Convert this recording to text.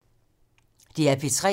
DR P3